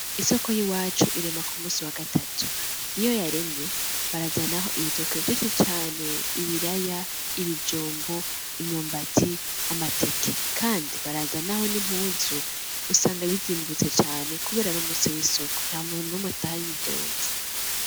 Isoko y'iwacu irema ku musi wa gatatu, iyo yaremye barazanaho ibitoki vyinshi caneee, ibiraya, ibijumbu, imyumbati, amateke, kandi barazanaho n'impuzu, usanga bizimbutse cane kubera ari umusi w'isoko, nta muntu n'umwe ataha yidoze.